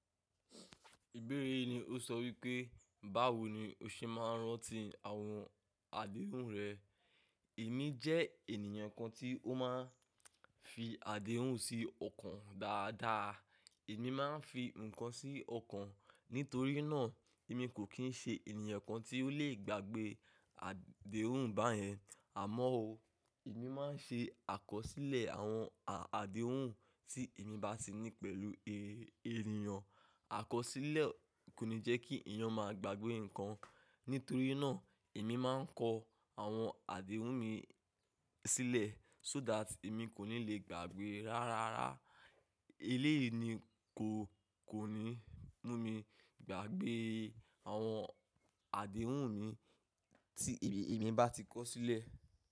Ìbéèrè yìí ni ó sọ wípé, báwo ni o ṣe máa ń rántí àwọn àdéhùn rẹ. Èmi jẹ́ ènìyàn kan tí ó máa ń fi àdéhùn sí ọkàn dáadáa. Èmi máa ń fi nǹkan sí ọkàn. Nítorí náà, èmi kò kì í ṣe ènìyàn kan tí ó lè gbàgbé àdéhùn báyẹn. Àmọ́ o, èmi máa ń ṣe àkọsílẹ̀ àwọn àdéhùn tí èmi bá tì ní pẹ̀lú ènìyàn. Àkọsílẹ̀ kò ní jẹ́ kí èèyàn máa gbàgbé nǹkan. Nítorí náà, èmi máa ń kọ àwọn àdéhùn mi sílẹ̀ so that èmi kò ní lè gbàgbé rárá. Eléyìí ni kó kò ní mú mi gbàgbé àwọn àdéhùn mi tí èmi bá ti kọ sílẹ̀.